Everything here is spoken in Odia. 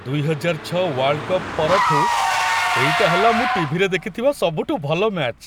ଦୁଇହଜାରଛଅ ୱାର୍ଲ୍‌ଡ଼୍‌କପ୍ ପରଠୁ ଏଇଟା ହେଲା ମୁଁ ଟିଭିରେ ଦେଖିଥିବା ସବୁଠୁ ଭଲ ମ୍ୟାଚ୍।